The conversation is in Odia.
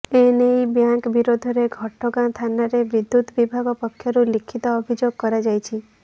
ଏନେଇ ବ୍ୟାଙ୍କ ବିରୋଧରେ ଘଟଗାଁ ଥାନରେ ବିଦ୍ୟୁତ୍ ବିଭାଗ ପକ୍ଷରୁ ଲିଖିତ ଅଭିଯୋଗ କରାଯାଇଛି